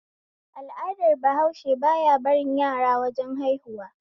Al'adar bahause ba ya barin yara wajen haihuwa